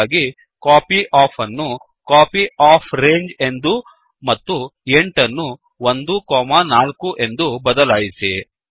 ಹಾಗಾಗಿ ಕಾಪ್ಯೋಫ್ ಅನ್ನು ಕಾಪ್ಯೋಫ್ರಾಂಜ್ ಎಂದೂ ಮತ್ತು 8 ಅನ್ನು 1 4 ಎಂದು ಬದಲಾಯಿಸಿ